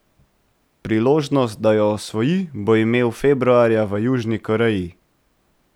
Priložnost, da jo osvoji, bo imel februarja v Južni Koreji.